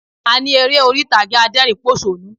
A ní eré orí ìtàgé adẹ́rìnínpòṣónú